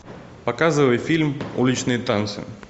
показывай фильм уличные танцы